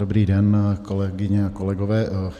Dobrý den, kolegyně a kolegové.